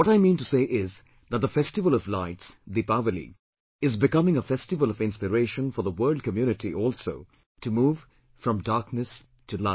What I mean to say is that the festival of lights, Deepawali is becoming a festival of inspiration for the world community also to move from darkness to light